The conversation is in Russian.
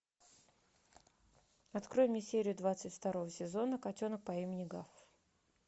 открой мне серию двадцать второго сезона котенок по имени гав